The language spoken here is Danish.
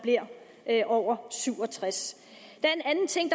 er over syv og tres